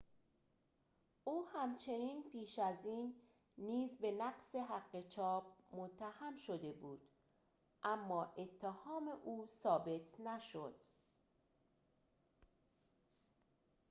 او همچنین پیش از این نیز به نقض حق چاپ متهم شده بود اما اتهام او ثابت نشد